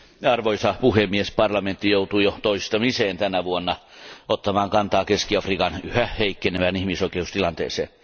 Arvoisa puhemies, parlamentti joutuu jo toistamiseen tänä vuonna ottamaan kantaa Keski Afrikan yhä heikkenevään ihmisoikeustilanteeseen.